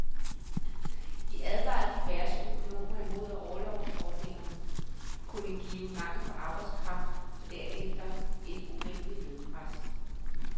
De advarede diverse økonomer imod, at orlovsordningerne kunne give mangel på arbejdskraft og derefter et urimeligt lønpres.